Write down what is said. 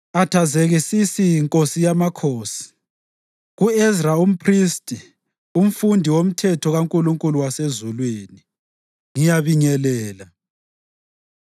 Athazekisisi, nkosi yamakhosi, Ku-Ezra umphristi, umfundisi womthetho kaNkulunkulu wasezulwini: Ngiyabingelela.